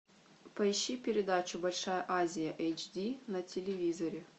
поищи передачу большая азия эйч ди на телевизоре